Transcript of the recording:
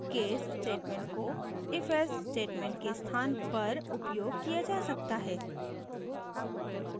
case statement को ifelse statement के स्थान पर उपयोग किया जा सकता है